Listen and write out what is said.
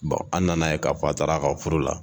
an nan'a ye ka f'a taar'a ka furu la!